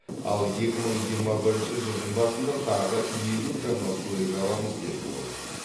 ал екі мың жиырма бірінші жылдың басында тағы елу жаңа көлік аламыз деді ол